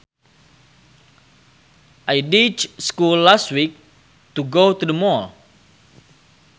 I ditched school last week to go to the mall